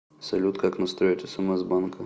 салют как настроить смс банка